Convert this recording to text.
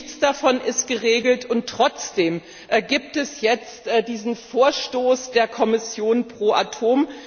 Nichts davon ist geregelt, und trotzdem gibt es jetzt diesen Vorstoß der Kommission pro Atom.